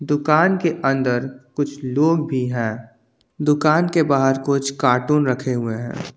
दुकान के अंदर कुछ लोग भी हैं दुकान के बाहर कुछ कार्टून भी रखे हैं।